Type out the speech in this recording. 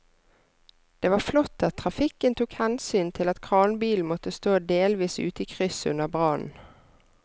Det var flott at trafikken tok hensyn til at kranbilen måtte stå delvis ute i krysset under brannen.